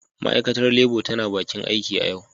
Ma'aikatar Labour tana bakin aiki a yau.